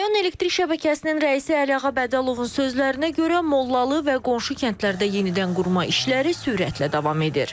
Rayon elektrik şəbəkəsinin rəisi Əliağa Bədəlovun sözlərinə görə, Mollalı və qonşu kəndlərdə yenidən qurma işləri sürətlə davam edir.